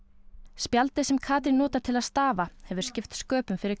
spjaldið sem Katrín notar til að stafa hefur skipt sköpum fyrir